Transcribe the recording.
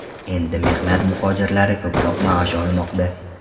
Endi mehnat muhojirlari ko‘proq maosh olmoqda.